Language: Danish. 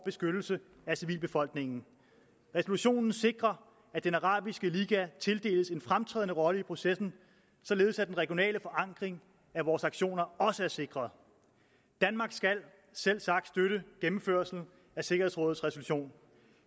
beskyttelse af civilbefolkningen resolutionen sikrer at den arabiske liga tildeles en fremtrædende rolle i processen således at den regionale forankring af vores aktioner også er sikret danmark skal selvsagt støtte gennemførelsen af sikkerhedsrådets resolution